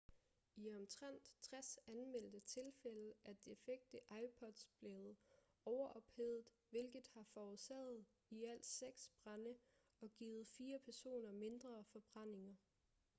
i omtrent 60 anmeldte tilfælde er defekte ipods blevet overophedet hvilket har forårsaget i alt seks brande og givet fire personer mindre forbrændinger